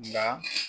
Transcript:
Nka